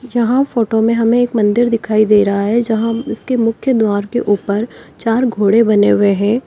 जहां फोटो में हमें एक मंदिर दिखाई दे रहा है जहां इसके मुख्य द्वार के ऊपर चार घोड़े बने हुए हैं।